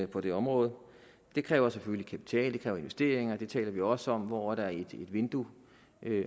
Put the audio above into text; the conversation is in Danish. på det område det kræver selvfølgelig kapital det kræver investeringer det taler vi også om hvor er der et vindue